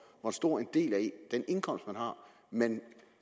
hvor stor en del af den indkomst man har man